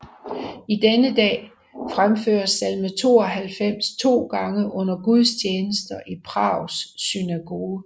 Til denne dag fremføres salme 92 to gange under gudstjenester i Prags synagoge